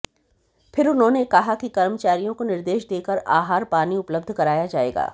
फिर उन्होंने कहा कि कर्मचारियों को निर्देश देकर आहर पानी उपलब्ध कराया जाएगा